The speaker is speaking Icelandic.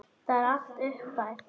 Það er allt útpælt.